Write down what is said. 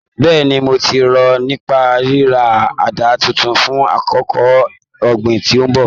Bẹ́ẹ̀ni, mo ti rò nípa ríra àdá titun fún àkókò ọ̀gbìn tí ń bọ̀ wá